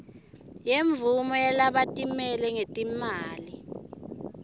semvumo yalabatimele ngetimali